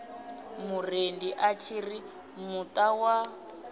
murendi a tshiri muta wa